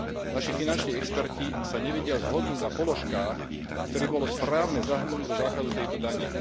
Naši finanční experti sa nevedia zhodnúť na položkách, ktoré by bolo správne zahrnúť do základu tejto dane.